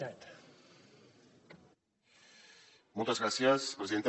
moltes gràcies presidenta